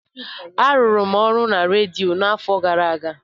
Arụrụ m ọrụ na redio n'afọ gara aga.